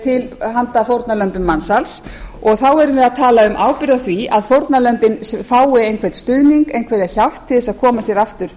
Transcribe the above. til handa fórnarlömbum mansals og þá erum við að tala um ábyrgð á því að fórnarlömbin fái einhvern stuðning einhverja hjálp til að koma sér aftur